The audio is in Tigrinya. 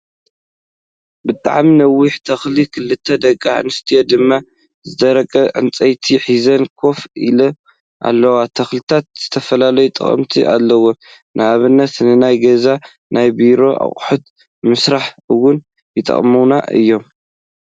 ብጣዕሚ ነዊሕ ተኽሊ ክልተ ደቂ ኣንስትዮ ድማ ዝደረቀ ዕንፀይቲ ሒዘን ኮፍ ኢን ኣለዋ። ተክሊታት ዝተፈላለዩ ጠቅሚታት ኣለዎም፤ ንኣብነት፦ ንናይ ገዛን ናይ ቢሮን ኣቁሑት ንምስራሕ እወን ይጠቅሙና እዮም።